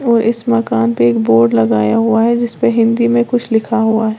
और इस मकान पे एक बोर्ड लगाया हुआ है जिस पे हिंदी में कुछ लिखा हुआ है।